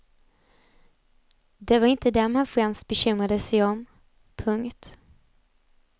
Det var inte dem han främst bekymrade sig om. punkt